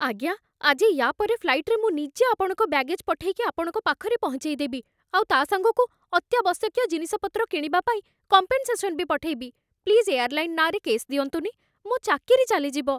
ଆଜ୍ଞା, ଆଜି ୟା' ପର ଫ୍ଲାଇଟ୍‌ରେ ମୁଁ ନିଜେ ଆପଣଙ୍କ ବ୍ୟାଗେଜ୍ ପଠେଇକି ଆପଣଙ୍କ ପାଖରେ ପହଞ୍ଚେଇଦେବି, ଆଉ ତା' ସାଙ୍ଗକୁ ଅତ୍ୟାବଶ୍ୟକୀୟ ଜିନିଷପତ୍ର କିଣିବାପାଇଁ କମ୍ପେନ୍ସେସନ୍ ବି ପଠେଇବି । ପ୍ଲିଜ୍ ଏୟାରଲାଇନ୍ ନାଁରେ କେସ୍ ଦିଅନ୍ତୁନି, ମୋ' ଚାକିରି ଚାଲିଯିବ!